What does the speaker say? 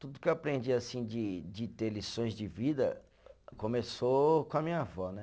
Tudo que eu aprendi assim de de ter lições de vida começou com a minha avó, né?